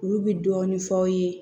Olu bɛ dɔɔnin f'aw ye